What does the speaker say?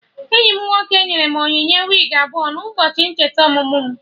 Enyi m nwoke nyere m onyinye wigi abụọ n'ụbọchị ncheta ọmụmụ mụ